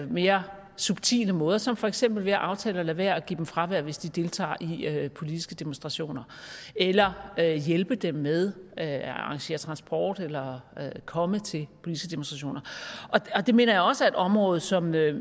mere subtile måder som for eksempel ved at aftale at lade være at give dem fravær hvis de deltager i i politiske demonstrationer eller hjælpe dem med at arrangere transport eller komme til politiske demonstrationer det mener jeg også er et område som